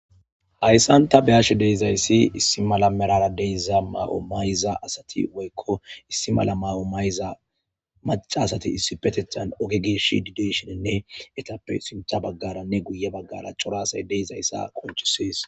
Hayssan ta beyashe deizayssi issi mala merara deyiza ma7o mayza asati woykko issi mala ma7o mayza maca asati issi petethan oge geeshi dideesheninne etappe sintha baggaranne guye baggara coraasay deizayssa qonchisees.